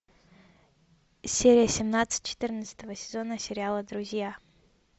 серия семнадцать четырнадцатого сезона сериала друзья